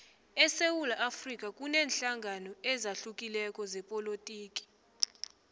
esewula afrika kuneenhlangano ezahlukileko zepolotiki